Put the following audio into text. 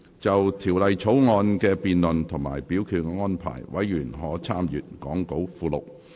就條例草案的辯論及表決安排，委員可參閱講稿附錄。